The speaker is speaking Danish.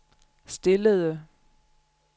stillede